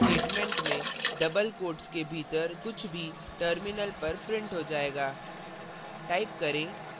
printf statement में double quotes के भीतर कुछ भी terminal पर printf हो जाएगा